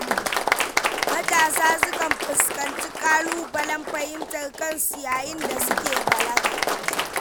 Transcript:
Matasa sukan fuskanci ƙalubalen fahimtar kansu yayin da suke balaga.